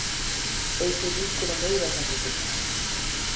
Eykur líkur á nauðasamningum